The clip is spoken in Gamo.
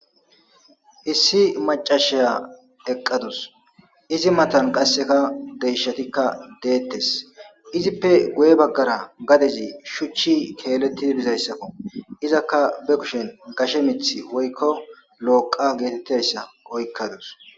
Issi macashiya eqqadus izi matan qasseka deshatikka deettes izippe guye baggara gadezi shuchchi keelettidi bizayssakko izakka be kushen gashe mith woykko looqa geetettayssa oykkadus